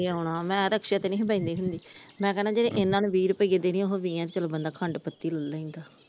ਜਦੋ ਆਉਣਾ ਮੈ ਰਿਕਸ਼ੇ ਤੇ ਨੀ ਬਹਿੰਦੀ ਹੁੰਦੀ ਮੈ ਕਹਿਣਾ ਜਿਹੜੇ ਇਹਨਾਂ ਨੂੰ ਵੀਹ ਰੁਪਈਏ ਦੇਣੇ ਉਹੋ ਵੀਹਾਂ ਦੀ ਬੰਦਾ ਖੰਡ ਪੱਤੀ ਲੇਹ ਲੈਂਦਾ ।